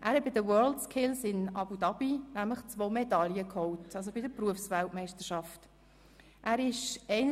Er hat bei den WorldSkills in Abu Dhabi, also bei den Berufsweltmeisterschaften, zwei Medaillen geholt.